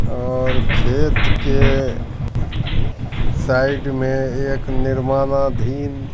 और खेत के साइड में एक निर्माणा धीन--